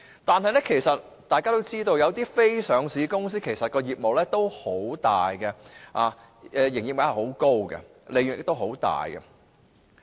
但是，大家均知道，有些非上市公司的業務眾多，營業額很高，利潤亦很高。